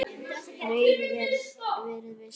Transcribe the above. Raunar verið viss.